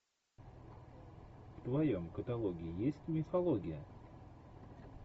в твоем каталоге есть мифология